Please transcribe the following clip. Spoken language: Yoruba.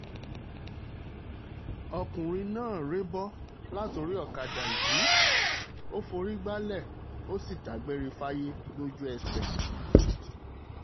ọkùnrin náà rébò láti orí ọ̀kadà yìí ò forí gbalẹ̀ ó sì dágbére fáyé lójú ẹsẹ̀